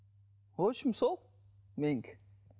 в общем сол менікі